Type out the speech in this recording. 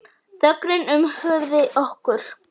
Þögnin umvafði okkur.